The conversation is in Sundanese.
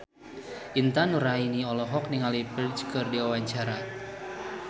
Intan Nuraini olohok ningali Ferdge keur diwawancara